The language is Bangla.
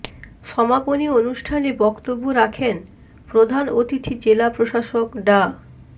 সমাপনী অনুষ্ঠানে বক্তব্য রাখেন প্রধান অতিথি জেলা প্রশাসক ডা